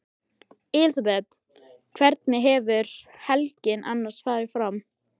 Elísabet: Hvernig hefur helgin annars farið fram?